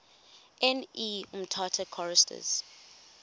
ne umtata choristers